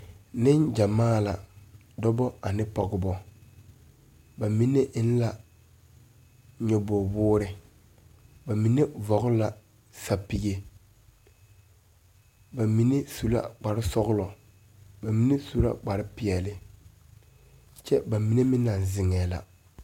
Neŋgyamaa la dɔbɔ ane pɔgebɔ ba mine eŋ la nyoboge woore ba mine vɔgle la sɛpige ba mine su la kparesɔglɔ ba mine su la kparepeɛle kyɛ ba mine meŋ naŋ zeŋɛɛ la.